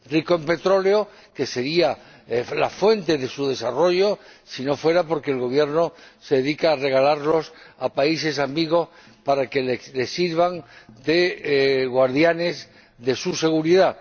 Rico en petróleo —que sería la fuente de su desarrollo si no fuera porque el Gobierno se dedica a regalarlo a países amigos para que le sirvan de guardianes de su seguridad—.